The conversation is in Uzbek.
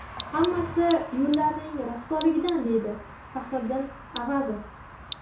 Hammasi yo‘llarning rasvoligidan, deydi Fahriddin Avazov.